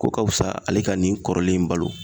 Ko ka fisa ale ka nin kɔrɔlen in balo